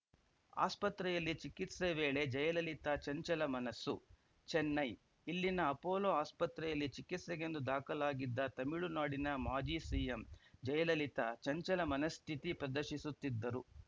ಆಸ್ಪತ್ರೆಯಲ್ಲಿ ಚಿಕಿತ್ಸೆ ವೇಳೆ ಜಯಲಲಿತಾ ಚಂಚಲ ಮನಸ್ಸು ಚೆನೈ ಇಲ್ಲಿನ ಅಪೋಲೋ ಆಸ್ಪತ್ರೆಯಲ್ಲಿ ಚಿಕಿತ್ಸೆಗೆಂದು ದಾಖಲಾಗಿದ್ದ ತಮಿಳುನಾಡಿನ ಮಾಜಿ ಸಿಎಂ ಜಯಲಲಿತಾ ಚಂಚಲ ಮನಸ್ಥಿತಿ ಪ್ರದರ್ಶಿಸುತ್ತಿದ್ದರು